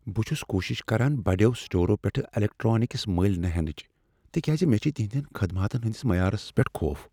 بہٕ چھس کوٗشش کران بڑیو سٹور پیٹھٕ الیکٹرانکس ملۍ نہ ہینچ تکیاز مےٚ چھ تہنٛدؠن خدماتن ہٕنٛدس معیارس پیٹھ خوف۔